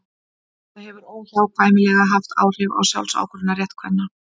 það hefur óhjákvæmilega haft áhrif á sjálfsákvörðunarrétt kvenna